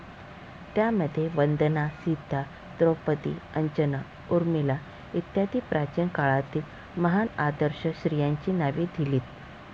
त्यामध्ये वंदना, सीता, द्रोपदी, अंजना, उर्मिला इत्यादी प्राचीन काळातील महान आदर्श स्त्रियांची नावे दिलीत.